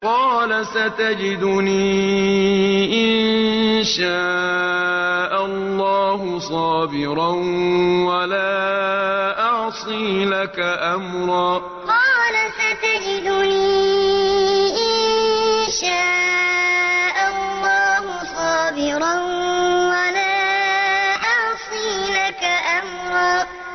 قَالَ سَتَجِدُنِي إِن شَاءَ اللَّهُ صَابِرًا وَلَا أَعْصِي لَكَ أَمْرًا قَالَ سَتَجِدُنِي إِن شَاءَ اللَّهُ صَابِرًا وَلَا أَعْصِي لَكَ أَمْرًا